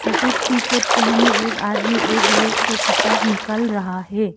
श्वेत T shirt पहने एक आदमी एक रैक से किताब निकाल रहा है।